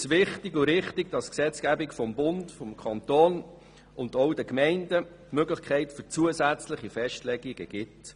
Für uns ist es wichtig und richtig, dass die Gesetzgebung von Bund und Kanton den Gemeinden Möglichkeiten für zusätzliche Festlegungen gibt.